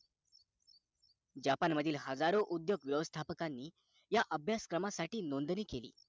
japan मधील हजारो उद्योग व्यवस्थापकांनी ह्या अभ्यासक्रमांसाठी नोंदणी केली